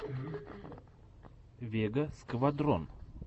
вега сквадрон